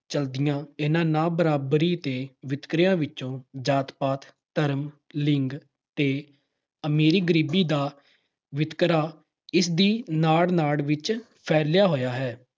ਚਲਦੀਆਂ ਇਹਨਾਂ ਨਾ-ਬਰਾਬਰੀ ਤੇ ਵਿਤਕਰਿਆਂ ਵਿੱਚੋਂ ਜਾਤ-ਪਾਤ, ਧਰਮ, ਲਿੰਗ ਤੇ ਅਮੀਰੀ-ਗਰੀਬੀ ਦਾ ਵਿਤਕਰਾ ਇਸ ਦੀ ਨਾੜ-ਨਾੜ ਵਿੱਚ ਫੈਲਿਆ ਹੋਇਆ ਹੈ।